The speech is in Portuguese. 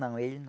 Não, ele não.